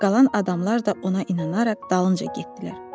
Qalan adamlar da ona inanaraq dalınca getdilər.